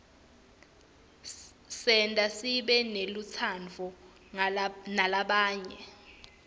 isenta sibe nelutsandvo ngalabanye